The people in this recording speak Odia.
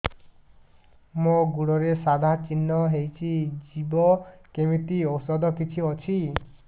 ମୋ ଗୁଡ଼ରେ ସାଧା ଚିହ୍ନ ହେଇଚି ଯିବ କେମିତି ଔଷଧ କିଛି ଅଛି